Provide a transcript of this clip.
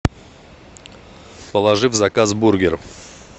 положи в заказ бургер